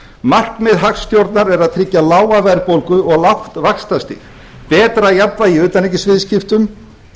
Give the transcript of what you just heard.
markmið hagstjórnar er að tryggja lága verðbólgu og lágt vaxtastig betra jafnvægi í utanríkisviðskiptum